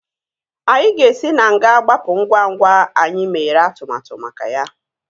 Anyị ga-esi na nga gbapụ ngwa ngwa anyị mere atụmatụ maka ya